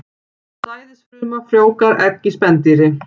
Sæðisfruma frjóvgar egg í spendýri.